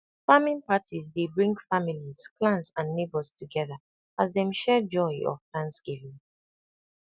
farming parties dey bring families clans and neighbours together as dem share joy of thanksgiving